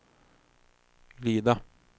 glida